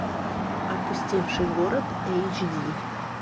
опустевший город эйч ди